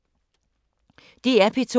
DR P2